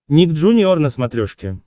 ник джуниор на смотрешке